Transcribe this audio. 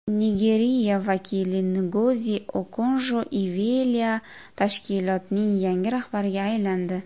Nigeriya vakili Ngozi Okonjo-Iveala tashkilotning yangi rahbariga aylandi.